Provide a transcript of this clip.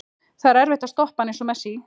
Það er erfitt að stoppa hann, eins og Messi.